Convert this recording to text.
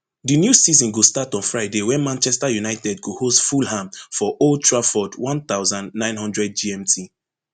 di new season go start on friday wen manchester united go host fulham for old trafford one thousand, nine hundred gmt